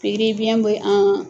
Pikiribiɲɛ be an